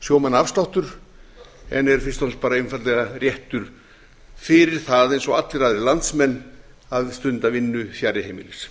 sjómannaafsláttur en er fyrst og fremst bara einfaldlega réttur fyrir það eins og allir aðrir landsmenn hafi stundað vinnu fjarri heimilis